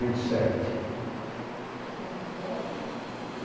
e sete. E o mais velho?